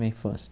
Minha infância.